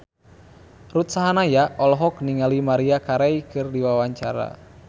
Ruth Sahanaya olohok ningali Maria Carey keur diwawancara